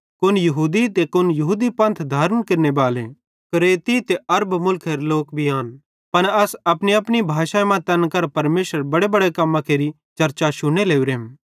कुन यहूदी ते कुन यहूदी पंथ धारण केरनेबाले क्रेती ते अरब मुल्खेरे लोक भी आन पन अस अपनीअपनी भाषाई मां तैन करां परमेशरेरां बड्डांबड्डां कम्मां केरि चर्चा शुन्ने लोरेम